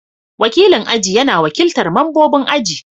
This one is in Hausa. Wakilin aji yana wakiltar membobin aji.